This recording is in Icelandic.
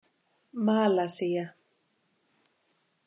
Malasía